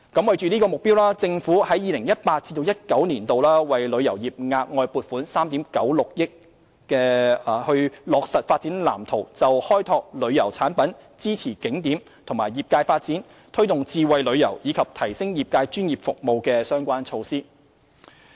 為此目標，政府在 2018-2019 年度為旅遊業額外撥款3億 9,600 萬元，以便落實《發展藍圖》就開拓旅遊產品、支持景點及業界發展、推動智慧旅遊，以及提升業界專業服務的相關措施。